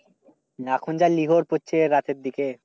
এখন যা লিহর পড়ছে রাতের দিকে।